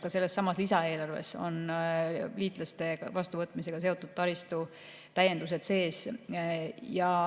Ka sellessamas lisaeelarves on liitlaste vastuvõtmisega seotud taristu täiendused sees.